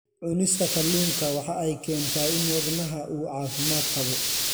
Cunista kalluunka waxa ay keentaa in wadnaha uu caafimaad qabo.